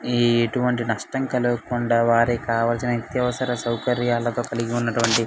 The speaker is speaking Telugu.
ఇటువంటి నష్టం కలగకుండా వారికి కావాల్సిన అతి అవసరమైన సౌకర్యాలు కలిగి ఉన్నటువంటి --